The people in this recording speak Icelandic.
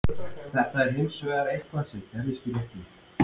Þetta er hins vegar eitthvað sem gerðist í leiknum.